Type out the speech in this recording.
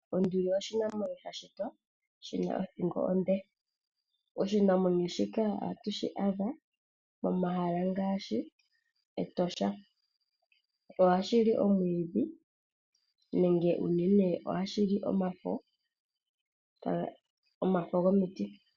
Onduli oshinamwenyo sha shitwa shi na othingo onde. Oshinamwenyo shika oha tu shi adha mo mahala ngaashi mEtosha. Ohashi li omwiidhi nomafo gomiti.